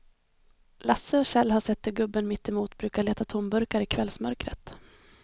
Lasse och Kjell har sett hur gubben mittemot brukar leta tomburkar i kvällsmörkret.